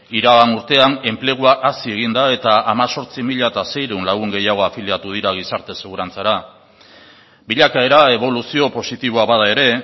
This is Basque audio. iragan urtean enplegua hazi egin da eta hemezortzi mila seiehun lagun gehiago afiliatu dira gizarte segurantzara bilakaera eboluzio positiboa bada ere